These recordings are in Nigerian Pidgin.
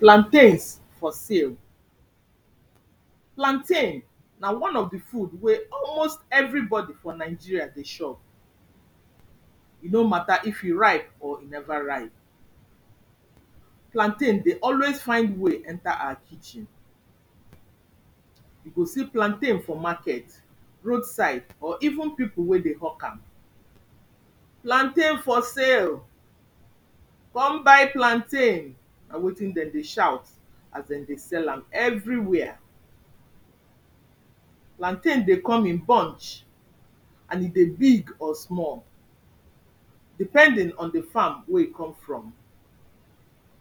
plantains for sale, plantain, na one of di food wey almost everybody for Nigeria dey shop. e no matter if e ripe or e never ripe. plantain dey always find way enter our kitchen. you go see plantain for market, road side or even people wey dey hawk am. plantain for sale! come buy plantain! na wetin dem dey shout as dem dey sell am every where. plantain dey come in bunch, and e dey big or small. depending on di farm wey e come from.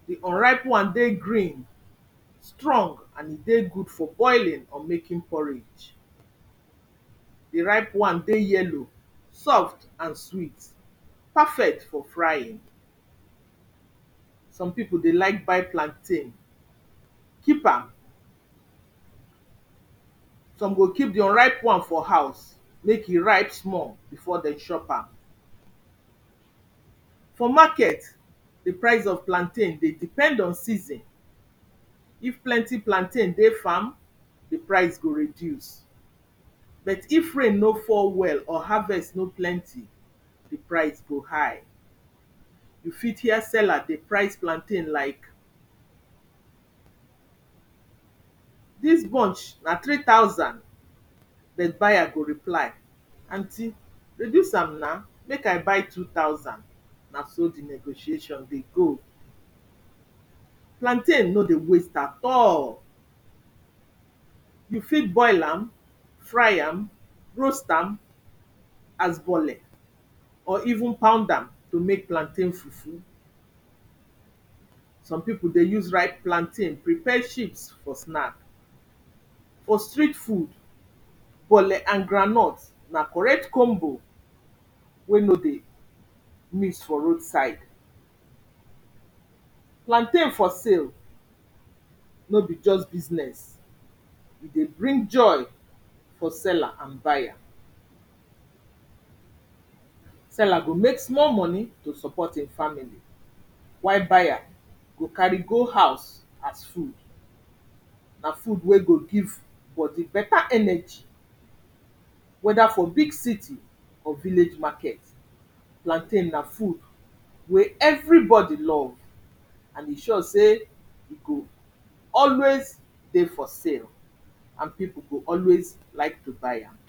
di unripe wan dey green, strong, and e dey good for boiling or making porridge. di ripe wan dey yellow, soft and sweet, perfect for frying. some people dey like buy plantain, keep am, some go keep di unripe wan for house make e ripe small before dem chop am. for market, di prize of plantain dey depend on season. if plenty plantain dey farm, di prize go reduce. bet if rain nor fall well or harvest nor plenty di prize go high. you fit hear seller dey price plantain like dis bunch na three thousand, den buyer go reply; anty reduce am na make I buy two thousand na so di negotiation dey go. plantain nor dey waste at all, you fit boil am, fry am, roast am, as bole. or even pound am to make plantain fufu. some people dey use ripe plantain prepare ships for snack. for street food bole and groundnut na correct combo wey nor dey miss for road side. plantain for sale, nor be just business, e dey bring joy for seller and buyer seller go make small money to support im family, while buyer go carry go house as food. na food wey go give bodi better energy. wether for big city or village market, plantain na food wey every body love. And e sure say e, go always dey for sale and people go always like to buy am.